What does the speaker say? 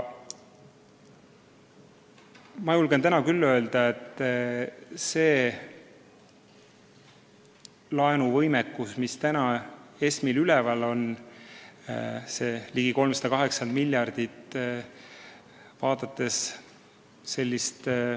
Ma julgen täna küll öelda, et laenuvõimekus, mis ESM-il praegu on – see ligi 380 miljardit – on piisav.